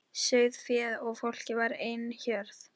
Best að láta vísindin um það.